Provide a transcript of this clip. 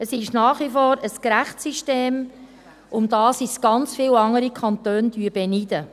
Es ist nach wie vor ein gerechtes System, um welches uns ganz viele andere Kantone beneiden.